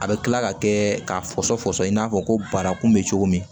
A bɛ kila ka kɛ k'a fɔsɔn fɔsɔn i n'a fɔ ko barakun bɛ cogo min